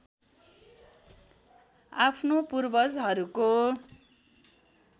आफ्नो पूर्वजहरूको